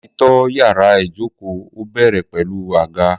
Làtí tó yàrá ìjókò ó bẹerẹ pẹlú àgá